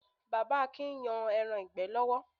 Bàbá Akin ń yan ẹran ìgbẹ́ lọ́wọ́.